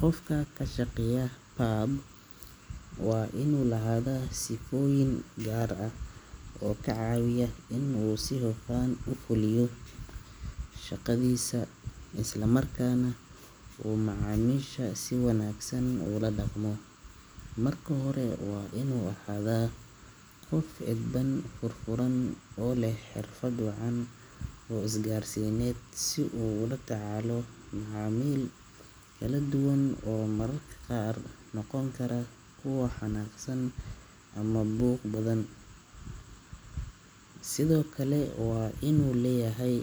Qofka ka shaqeynaya pub waa inuu lahaadaa sifooyin gaar ah oo ka caawiya inuu si hufan u fuliyo shaqadiisa isla markaana uu macaamiisha si wanaagsan ula dhaqmo. Marka hore, waa inuu ahaadaa qof edban, furfuran oo leh xirfad wacan oo isgaarsiineed si uu ula tacaalo macaamiil kala duwan oo mararka qaar noqon kara kuwo xanaaqsan ama buuq badan. Sidoo kale, waa inuu leeyahay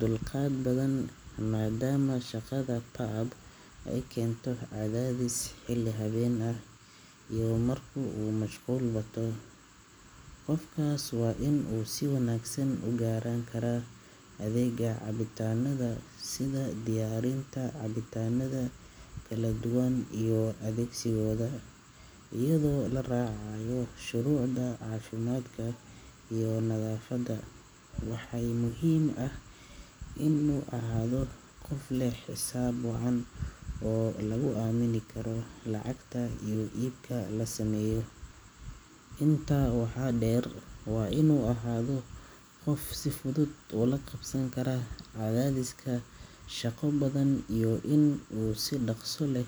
dulqaad badan, maadaama shaqada pub ay keento cadaadis xilli habeen ah iyo marka uu mashquul bato. Qofkaas waa inuu si wanaagsan u garan karaa adeega cabitaanada, sida diyaarinta cabitaannada kala duwan iyo adeegsigooda iyadoo la raacayo shuruucda caafimaadka iyo nadaafadda. Waxaa muhiim ah inuu ahaado qof leh xisaab wacan oo lagu aamini karo lacagta iyo iibka la sameeyo. Intaa waxaa dheer, waa inuu ahaado qof si fudud ula qabsan kara cadaadiska shaqo badan iyo in uu si dhakhso leh.